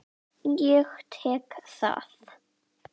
Ég tek það!